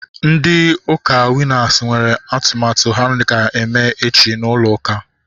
Ndị ụka Winas nwere atụmatụ ha ga-eme echi n'ụlọ ụka